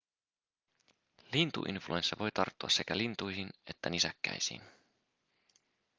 lintuinfluenssa voi tarttua sekä lintuihin että nisäkkäisiin